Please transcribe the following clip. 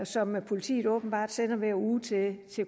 som politiet åbenbart sender hver uge til